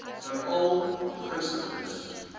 veral hglo begunstigdes